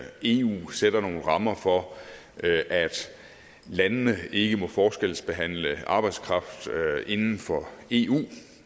eu sætter nogle rammer for at landene ikke må forskelsbehandle arbejdskraft inden for eu